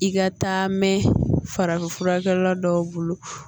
I ka taa mɛ farafinfurakɛla dɔw bolo